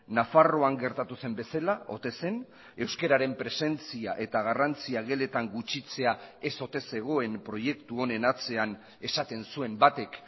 nafarroan gertatu zen bezala ote zen euskararen presentzia eta garrantzia geletan gutxitzea ez ote zegoen proiektu honen atzean esaten zuen batek